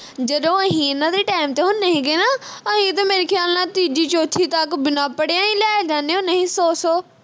ਜਦੋਂ ਅਹੀ ਇਨ੍ਹਾਂ ਦੇ time ਤੇ ਹੁੰਦੇ ਹੀਗੇ ਨਾ ਅਹੀ ਤੇ ਮੇਰੇ ਖਿਆਲ ਨਾਲ ਤੀਜੀ ਚੌਥੀ ਤੱਕ ਬਿਨਾਂ ਪੜਿਆਂ ਹੀ ਲੈ ਜਾਂਦੇ ਹੁੰਦੇ ਹੀ ਸੌ ਸੌ